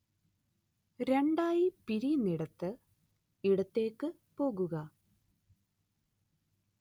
രണ്ടായി പിരിയുന്നയിടത്ത് ഇടത്തേക്ക് പോകുക